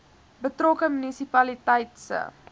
betrokke munisipaliteit se